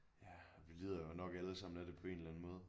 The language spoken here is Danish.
Ja vi lider jo nok alle sammen af det på en eller anden måde